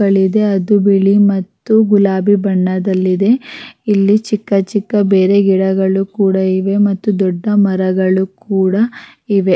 ಆ ಹೂವಗಳ್ನ ಕಿತ್ಕೊಂಡು ಹೋಗ್ತಿವಿ ಕಿತ್ಕೊಂಡು ಹೋಗ್ತಾರೆ ಜನಗಳು ಕಿತ್ಕೊಂಡು ಹೋಗ್ತಾರೆ ಕೇಳ್ತಾರೆ ನಾಮಿಗೂ ಕೊಡ್ರಿ ಅಂತ ನಾವು ಕಿತ್ತುದೇವರಿಗೆ ಮುಡಿಸ್ತೀವಿ ದೇವಸ್ಥಾನಕ್ ಕೊಡ್ತೀವಿ.